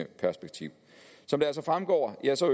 perspektiv som det altså fremgår